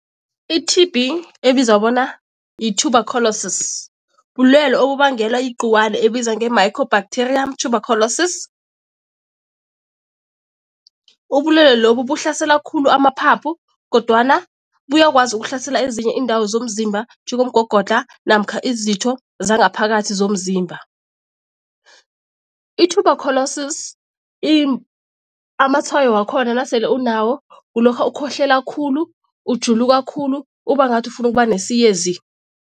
I-T_B ebizwa bona yi-tUberculosis bulwelwe obubangelwa igcikwane ebizwa nge-micro bacteria tUberculosis. Ubulwelwe lobu buhlasela khulu amaphaphu kodwana buyakwazi ukuhlasela ezinye iindawo zomzimba njengomgogodlha namkha izitho zangaphakathi zomzimba. I-tUberculosis amatshwayo wakhona nasele unawo kulokha ukhohlela khulu, ujuluka khulu uba ngathi ufuna ukuba nesiyezi.